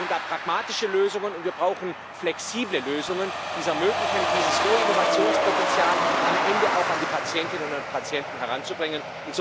Wir brauchen da pragmatische Lösungen, und wir brauchen flexible Lösungen, die es ermöglichen, dieses hohe Innovationspotenzial am Ende auch an die Patientinnen und Patienten heranzubringen.